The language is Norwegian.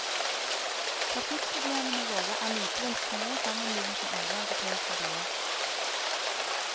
Trafikkproblemene våre er likevel små sammenlignet med andre europeiske byer.